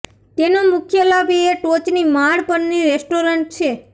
તેનો મુખ્ય લાભ એ ટોચની માળ પરની રેસ્ટોરન્ટ છે